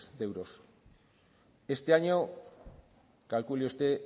de euros este año calcule usted